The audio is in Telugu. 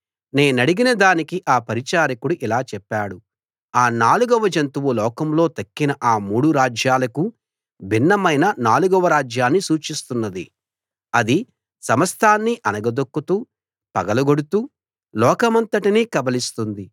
నేనడిగిన దానికి ఆ పరిచారకుడు ఇలా చెప్పాడు ఆ నాలుగవ జంతువు లోకంలో తక్కిన ఆ మూడు రాజ్యాలకు భిన్నమైన నాలుగవ రాజ్యాన్ని సూచిస్తున్నది అది సమస్తాన్నీ అణగదొక్కుతూ పగలగొడుతూ లోకమంతటినీ కబళిస్తుంది